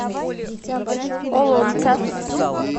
олонца